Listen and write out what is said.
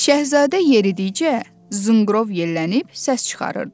Şahzadə yeridikcə zınqrov yellənib səs çıxarırdı.